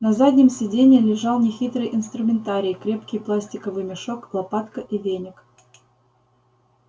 на заднем сиденье лежал нехитрый инструментарий крепкий пластиковый мешок лопатка и веник